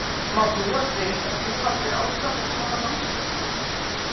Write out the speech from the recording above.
Má búast við að þú haldir áfram með svona námskeið?